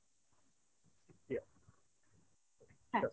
হ্যাঁ